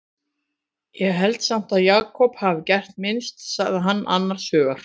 Ég held samt að Jakob hafi gert minnst, sagði hann annars hugar.